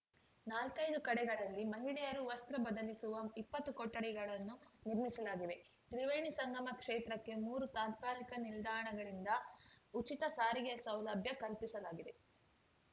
ನಾಲ್ಕೈದು ಕಡೆಗಳಲ್ಲಿ ಮಹಿಳೆಯರು ವಸ್ತ್ರ ಬದಲಿಸುವ ಇಪ್ಪತ್ತು ಕೊಠಡಿಗಳನ್ನು ನಿರ್ಮಿಸಿಲಾಗಿವೆ ತ್ರಿವೇಣಿ ಸಂಗಮ ಕ್ಷೇತ್ರಕ್ಕೆ ಮೂರು ತಾತ್ಕಾಲಿಕ ನಿಲ್ದಾಣಗಳಿಂದ ಉಚಿತ ಸಾರಿಗೆ ಸೌಲಭ್ಯ ಕಲ್ಪಿಸಲಾಗಿದೆ